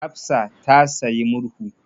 Hafsa ta sayi murhu.